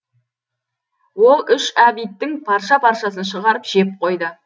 ол үш абидтің парша паршасын шығарып жеп қойды